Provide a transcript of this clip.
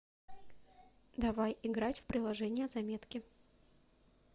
давай играть в приложение заметки